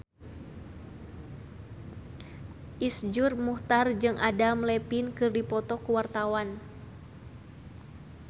Iszur Muchtar jeung Adam Levine keur dipoto ku wartawan